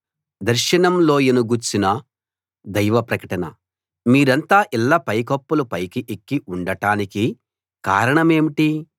దర్శనం లోయ ను గూర్చిన దైవ ప్రకటన మీరంతా ఇళ్ళ పైకప్పుల పైకి ఎక్కి ఉండటానికి కారణమేంటి